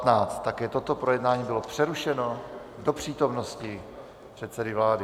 Také toto projednání bylo přerušeno do přítomnosti předsedy vlády.